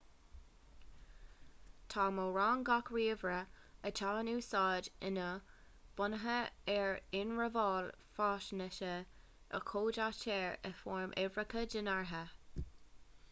tá mórán gach ríomhaire atá in úsáid inniu bunaithe ar ionramháil faisnéise a chódaítear i bhfoirm uimhreacha dénártha